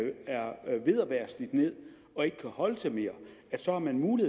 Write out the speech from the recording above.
være slidt ned og ikke kan holde til mere altså